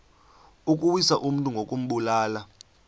ukuwisa umntu ngokumbulala